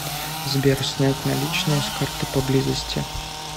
сбер снять наличные с карты поблизости